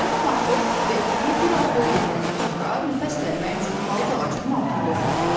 Cənab Markov və iti biraz yol gedəndən sonra nəfəs dərmək üçün palıd ağacının altında oturdular.